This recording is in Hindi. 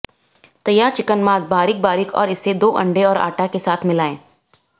तैयार चिकन मांस बारीक बारीक और इसे दो अंडे और आटा के साथ मिलाएं